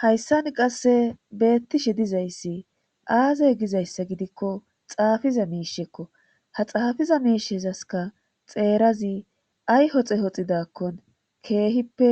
Hayssani qasse beettishe dizayssi aazey gizayssa gidikko xaafiza miishekko ha xaafiza miishezaska xeerazi ay hoxe hoxidakkon keehippe